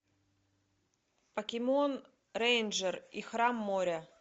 покемон рейнджер и храм моря